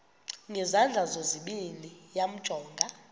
ngezandla zozibini yamjonga